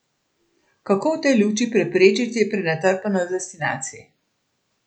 Kako v tej luči preprečiti prenatrpanost destinacij?